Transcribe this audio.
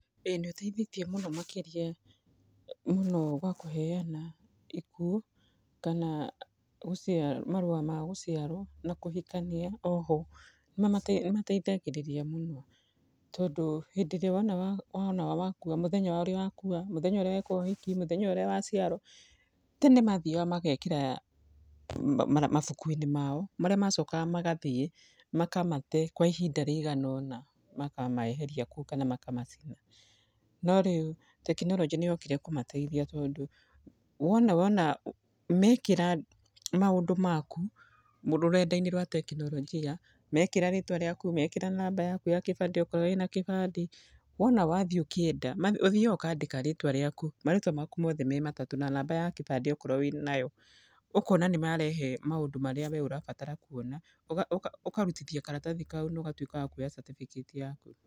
Ĩĩ nĩ ũteithĩtie mũno makĩria mũno gwa kũheana ikuũ, kana marũa ma gũciarwo na kũhikania oho. Nĩ mateithagĩrĩria mũno. Tondũ hĩndĩ ĩrĩa wona wa wona wakua, mũthenya ũrĩa wakua, mũthenya ũrĩa weka ũhiki, mũthenya ũrĩa waciarwo. Tene mathiaga magekĩra mabuku-inĩ mao, marĩa macokaga magathiĩ makamate kwa ihinda rĩigana ũna makameheria kũu kana makamacina. No rĩu tekinoronjĩ nĩ yokire kũmateithia tondũ, wona wona mekĩra maũndũ maku, rũrenda-inĩ rwa tekinoronjia, mekĩra rĩtwa rĩaku, makĩra namba yaku ya kĩbandĩ okorwo wĩna kĩbandĩ. Wona wathiĩ ũkĩenda, ũthiaga ũkandĩka rĩtwa rĩaku, marĩtwa maku mothe me matatũ, na namba ya kĩbandĩ okorwo wĩnayo. Ũkona nĩ marehe maũndũ marĩa we ũrabatara kuona. Ũkaruthia karatathi kau na ũgatuĩka wa kuoya certificate yaku.